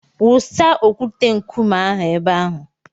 Wụsa okwute (nkume) ahụ ebe ahụ!